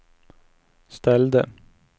ställde